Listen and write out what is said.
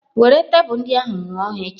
Were tebụl ndị ahụ ṅụọ ha echi!